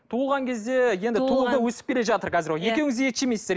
туылған кезде енді туылды өсіп келе жатыр қазір екеуіңіз де ет жемейсіздер